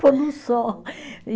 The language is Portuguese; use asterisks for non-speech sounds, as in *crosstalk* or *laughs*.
Pôr no sol. *laughs* e